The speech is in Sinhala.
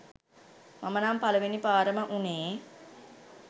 මම නම් පළවෙනි පාරම උනේ